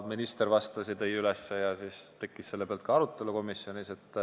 Minister vastas ja selle peale tekkis komisjonis ka arutelu.